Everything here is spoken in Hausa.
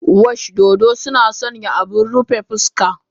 Wash dodo suna sanya abin rufe fuska.